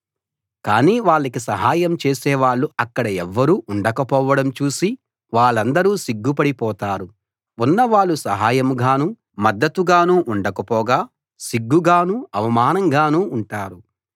కానీ వాళ్లకి సహాయం చేసేవాళ్ళు అక్కడ ఎవ్వరూ ఉండకపోవడం చూసి వాళ్లందరూ సిగ్గుపడి పోతారు ఉన్నవాళ్ళు సహాయంగానూ మద్దతుగానూ ఉండకపోగా సిగ్గుగానూ అవమానంగానూ ఉంటారు